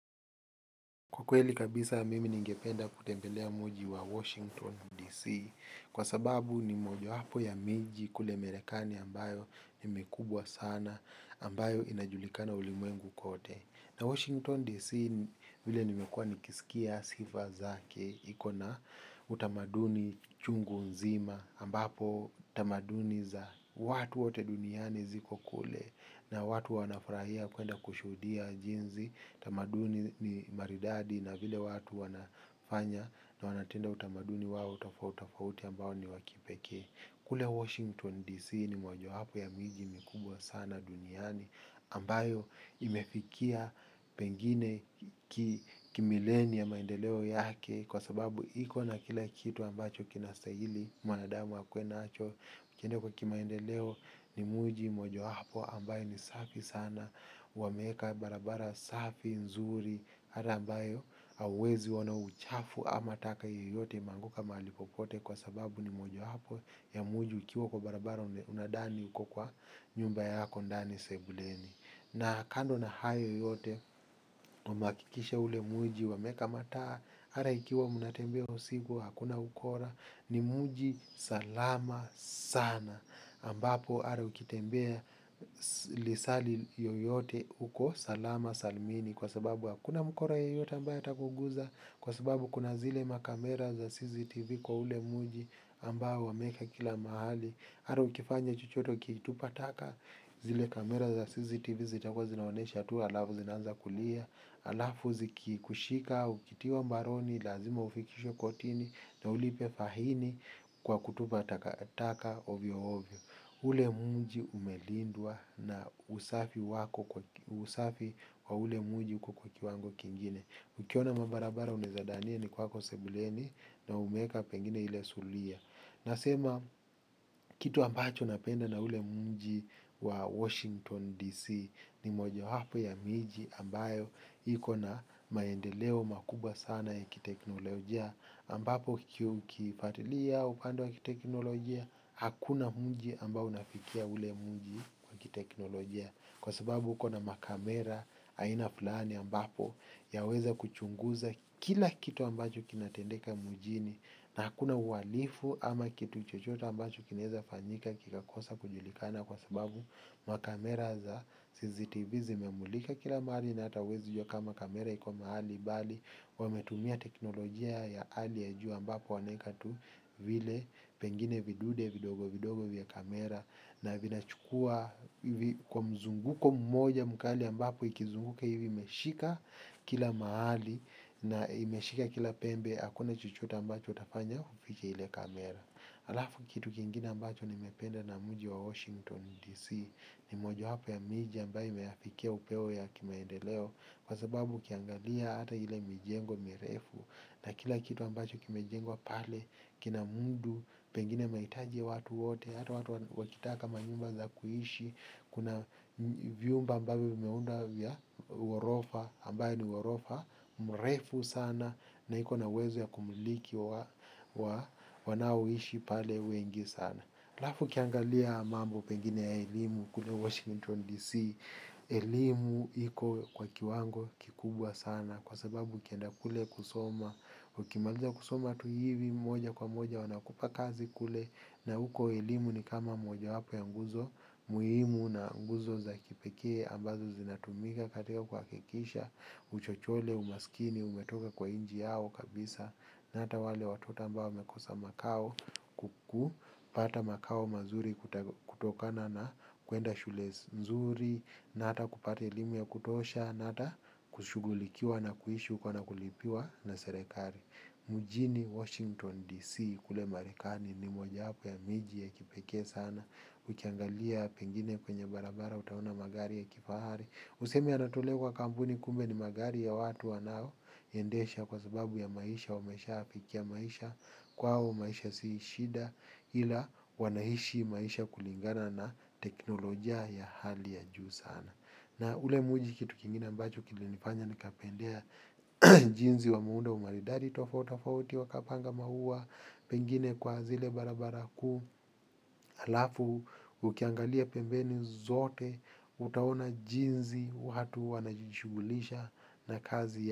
Kwa kweli kabisa mimi ningependa kutembelea mji wa Washington D.C. Kwa sababu ni mojowapo ya miji kule marekani ambayo ni mikubwa sana ambayo inajulikana ulimwengu kote. Na Washington D.C. Vile nimekuwa nikisikia sifa zake iko na utamaduni chungu nzima ambapo tamaduni za watu wote duniani ziko kule na watu wanafurahia kwenda kushudia jinsi tamaduni ni maridadi na vile watu wanafanya. Na wanatenda utamaduni wao tofauti tofauti ambao ni wa kipekee. Kule Washington D.C. Hii ni mojawapo ya miji mikubwa sana duniani ambayo imefikia pengine kimileni ya maendeleo yake. Kwa sababu iko na kila kitu ambacho kinastahili mwanadamu akuwe nacho ukienda kwa kimaendeleo ni mji mojawapo ambayo ni safi sana wameweka barabara safi nzuri hata ambayo hauwezi ona uchafu ama taka yoyote imeanguka mahali popote kwa sababu ni moja wapo ya mji ukiwa kwa barabara unadhani uko kwa nyumba yako ndani sebuleni na kando na hayo yote umehakikisha ule mji wameweka mataa hata ikiwa mnatembea usiku hakuna ukora ni mji salama sana ambapo hata ukitembea lisaa li yoyote uko salama salmini kwa sababu hakuna mkora yoyote ambayo atakuguza kwa sababu kuna zile makamera za CCTV kwa ule mji ambao wameweka kila mahali hata ukifanya chochote ukitupa taka zile kamera za CCTV zitakuwa zinaonesha tu halafu zinaanza kulia halafu zikikushika ukitiwa mbaroni lazima ufikishwe kotini na ulipe faini kwa kutupa taka taka ovyo ovyo. Ule mji umelindwa na usafi wa ule mji uko kwa kiwango kingine. Ukiona mabarabara unaeza dhania ni kwako sebuleni na umeweka pengine ile zulia. Nasema. Kitu ambacho napenda na ule mji wa Washington DC ni moja wapo ya miji ambayo iko na maendeleo makubwa sana ya kiteknolojia ambapo ukifatilia upande wa kiteknolojia hakuna mji ambao unafikia ule mji kwa kiteknolojia kwa sababu uko na makamera aina fulani ambapo yaweza kuchunguza kila kitu ambacho kinatendeka mjini na hakuna uhalifu ama kitu chochote ambacho kinaweza fanyika kikakosa kujulikana kwa sababu makamera za CCTV zimemulika kila mahali na hata huwezi jua kamera iko mahali bali wametumia teknolojia ya hali ya juu ambapo wameweka tu vile pengine vidude vidogo vidogo vya kamera na vinachukua kwa mzunguko mmoja mkali ambapo ikizunguka hivi imeshika kila mahali na imeshika kila pembe hakuna chochote ambacho utafanya ufiche ile kamera. Halafu kitu kingine ambacho nimependa na mji wa Washington DC ni mojawapo ya miji ambayo imeafikia upeo ya kimaendeleo. Kwa sababu ukiangalia hata ile mijengo mirefu na kila kitu ambacho kimejengwa pale kina mudu, pengine mahitaji ya watu wote. Hata watu wakitaka manyumba za kuishi. Kuna vyumba ambavyo vimeundwa vya ghorofa ambayo ni ghorofa mrefu sana na iko na uwezo wa wa wanaoishi pale wengi sana halafu ukiangalia mambo pengine ya elimu kule Washington DC elimu iko kwa kiwango kikubwa sana kwa sababu ukienda kule kusoma. Ukimaliza kusoma tu hivi moja kwa moja wanakupa kazi kule. Na huko elimu ni kama moja wapo ya nguzo muhimu na nguzo za kipekee ambazo zinatumika katika kuhakikisha uchochole umaskini umetoka kwa nchi yao kabisa. Na hata wale watu wote ambao wamekosa makao kuku. Pata makao mazuri kutokana na kuenda shule nzuri. Na hata kupata elimu ya kutosha. Na hata kushugulikiwa na kuishi huko na kulipiwa na serikali. Mjini Washington DC kule marekani ni mojawapo ya miji ya kipekee sana. Ukiangalia pengine kwenye barabara utaona magari ya kifahari. Useme yanatolewa kwa kampuni kumbe ni magari ya watu wanaoendesha kwa sababu ya maisha wameshayapikia maisha. Kwao maisha si shida ila wanaishi maisha kulingana na teknolojia ya hali ya juu sana. Na ule mji kitu kingine ambacho kina nifanya nikapendea. Jinsi wa muundo maridadi tofauti tofauti wakapanga maua pengine kwa zile barabara kuu halafu ukiangalia pembeni zote utaona jinsi watu wanajishugulisha na kazi.